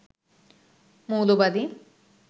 মৌলবাদী